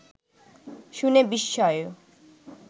শুনে বিস্ময়ে